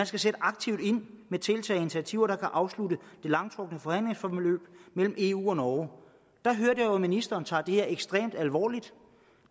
skal sætte aktivt ind med tiltag og initiativer der kan afslutte det langtrukne forhandlingsforløb mellem eu og norge der hørte jeg jo at ministeren tager det her ekstremt alvorligt